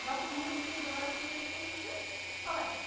жалпы көңіл күйіңізге қарап киінесіз бе сіз де қалай